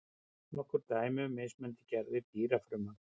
Nokkur dæmi um mismunandi gerðir dýrafrumna.